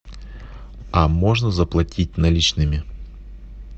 а можно заплатить наличными